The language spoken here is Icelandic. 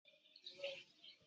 Það er engum að kenna.